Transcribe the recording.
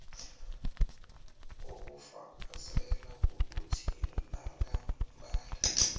obufakazela ukuthi nangambala